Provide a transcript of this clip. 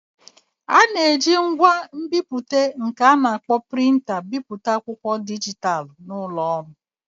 A na-eji ngwa nbipute nke a na-akpọ Prịnta bipụta akwụkwọ dijitalụ n'ụlọ ọrụ